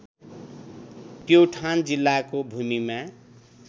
प्युठान जिल्लाको भूमिमा